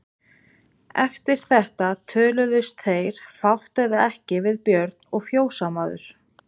Eftir þetta töluðust þeir fátt eða ekki við Björn og fjósamaður.